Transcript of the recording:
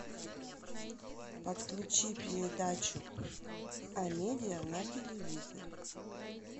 подключи передачу амедия на телевизоре